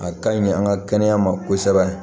A ka ɲi an ka kɛnɛya ma kosɛbɛ